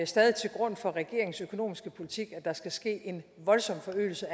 stadig til grund for regeringens økonomiske politik at der skal ske en voldsom forøgelse